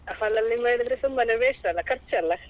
Hall ಅಲ್ಲಿ ಮಾಡಿದ್ರೆ ಸುಮ್ಮನೆ waste ಅಲ್ಲ ಸುಮ್ಮನೆ ಖರ್ಚ್ ಅಲಾ.